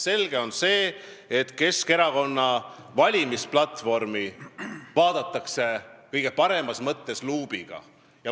Selge on see, et Keskerakonna valimisplatvormi vaadatakse kõige paremas mõttes luubiga.